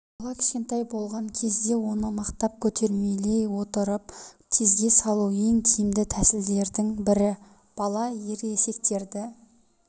бала кішкентай болған кезде оны мақтап көтермелей отырып тезге салу ең тиімді тәсілдердің бір бала ересектертерді